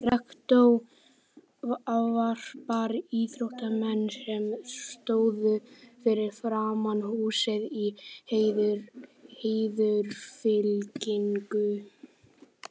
Rektor ávarpar íþróttamennina, sem stóðu fyrir framan húsið í heiðursfylkingu.